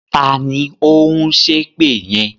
Taàní ó ń ṣépè yẹn?